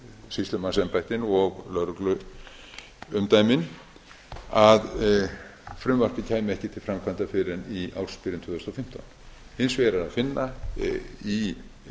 sýslumannsembættin og lögregluumdæmin að frumvarpið kæmi ekki til framkvæmda fyrr en í ársbyrjun tvö þúsund og fimmtán hins vegar er að finna í